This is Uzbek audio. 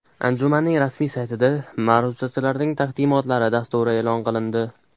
Anjumanning rasmiy saytida ma’ruzachilarning taqdimotlari dasturi e’lon qilindi.